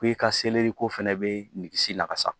Ko i ka selɛri ko fɛnɛ be ɲin lakasa